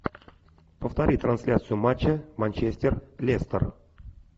повтори трансляцию матча манчестер лестер